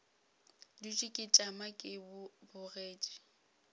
dutše ke tšama ke bogetše